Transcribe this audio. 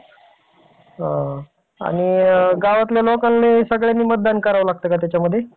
नमामी चंद्रभागा अभियान हाती घेतले आहे. यामध्ये भीमाशंकरापासून ते रायचूरपर्यंत या नदीचे प्रदूषण रोखण्यासाठी उपाय योजना करण्यात येणार आहे.